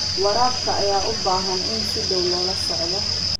Waraabka ayaa u baahan in si dhow loola socdo.